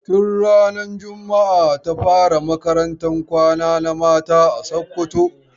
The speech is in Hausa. Tun ranar jumaa ta fara makarantan kwana na mata a Sokoto.